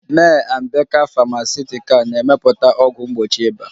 May & baker Famakutical na-emepụta ọgwụ mgbochi ịba